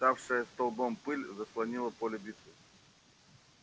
вставшая столбом пыль заслонила поле битвы